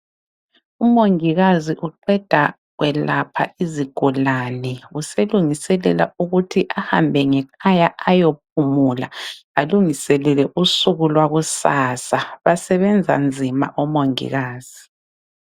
Umongikazi uqeda ukwelapha izigulane. Uselungiselela ukuthi ahambe ngekhaya ayophumula, alungiselele usuku lwakusasa. Basebenza nzima omongikazi.